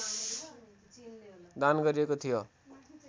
दान गरिएको थियो